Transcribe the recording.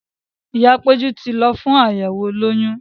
Ìyáa Péjú ti lọ fún àyẹ̀wò olóyún.